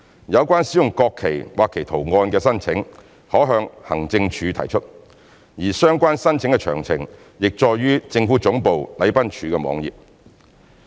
有關使用國旗或其圖案的申請，可向行政署提出，而相關申請的詳情已載於政府總部禮賓處網頁。